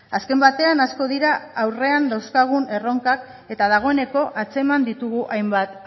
azken batean asko dira aurrean dauzkagun erronkak eta dagoeneko atzeman ditugu hainbat